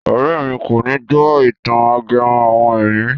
Ọ̀rẹ́ mi kòní gbó ìtàn ajẹmọ́ àwọn ẹ̀mí.